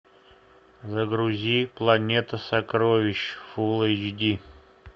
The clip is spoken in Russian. загрузи планета сокровищ фулл эйч ди